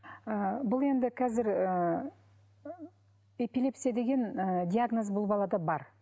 ы бұл енді қазір ыыы эпилепсия деген ы диагноз бұл балада бар